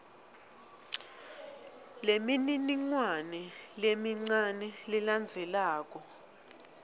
lemininingwane lemincane lelandzelako